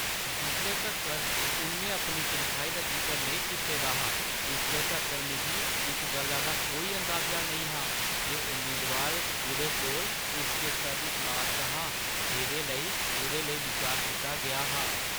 जिसले तक्कर उʼन्नै अपनी तनखाही दा जिकर नेईं कीते दा हा, उसले तक्कर मिगी इस गल्ला दा कोई अंदाजा नेईं हा जे उम्मीदवार उʼदे कोला उच्चे स्तर दी तलाश च हा जेह्दे लेई उʼदे लेई बिचार कीता गेआ हा।